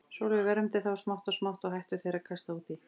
Sólin vermdi þá og smátt og smátt hættu þeir að kasta út í.